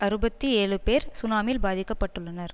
அறுபத்தி ஏழு பேர் சுனாமியில் பாதிக்க பட்டுள்ளனர்